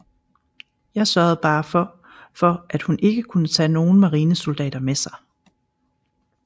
Jeg sørgede bare for for at hun ikke kunne tage nogen marinesoldater med sig